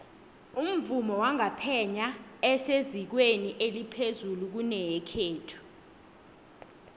umvumo wangapheya esezingeni eliphezulu kuyenekhethu